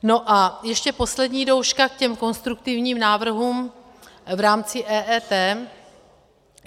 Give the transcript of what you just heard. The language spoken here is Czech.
No, a ještě poslední douška k těm konstruktivním návrhům v rámci EET.